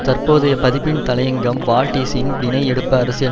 தற்போதைய பதிப்பின் தலையங்கம் வால்ஸ்ட்ரீட் பிணை எடுப்பு அரசியல்